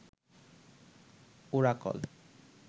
Oracle